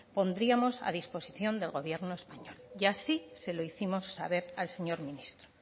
pondríamos a disposición del gobierno español y así se lo hicimos saber al señor ministro